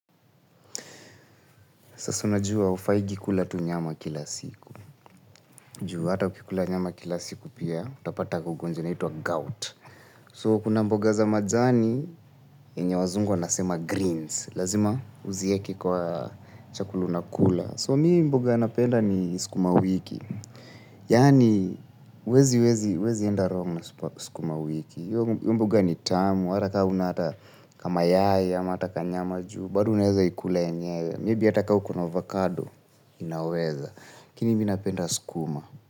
Sasa unajua hufaingi kula tu nyama kila siku. Juu hata ukikula nyama kila siku pia, utapata gugu zinaitwa gout. So, kuna mboga za majani, yenye wazungu wanasema greens. Lazima uzieke kwa chakulu unakula. So, mimi mboga napenda ni sukuma wiki. Yaani, huwezi, huwezi, huwezi enda wrong na sukuma wiki. Hiyo mboga ni tamu, hata ka huna hata kamayai, ama hata kanyama juu, bado unaeza ikula yenyewe. Maybe hata ka uko na avocado inaweza. Lakini mimi napenda sukuma.